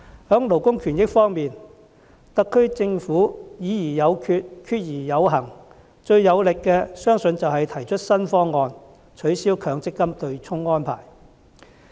在勞工權益方面，特區政府"議而有決、決而有行"，最有力的，相信就是提出了新方案，取消強制性公積金對沖安排。